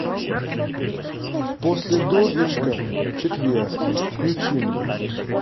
после дождичка в четверг включи мне